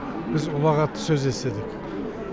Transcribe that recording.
біз ұлағатты сөз естідік